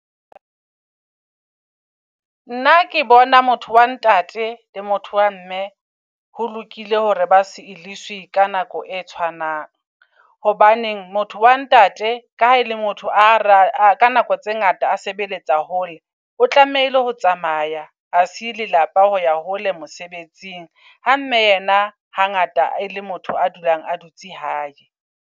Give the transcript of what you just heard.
Nna ke bona motho wa ntate le motho wa mme ho lokile hore ba se eliswi ka nako e tshwanang. Hobaneng motho wa ntate ka le motho a ra ka nako tse ngata a sebeletsa hole. O tlamehile ho tsamaya. A siye lelapa ho ya hole mosebetsing, ha mme yena ha ngata e le motho a dulang a dutse hae.